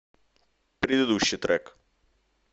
предыдущий трек